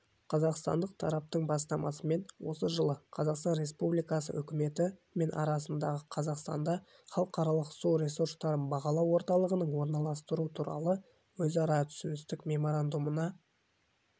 қазақстандық тараптың бастамасымен осы жылы қазақстан республикасы үкіметі мен арасындағы қазақстанда халықаралық су ресурстарын бағалау орталығының орналастыру туралы өзара түсіністік меморандумына